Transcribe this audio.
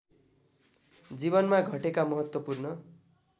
जीवनमा घटेका महत्त्वपूर्ण